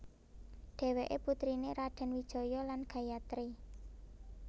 Dhéwéké putriné Radèn Wijaya lan Gayatri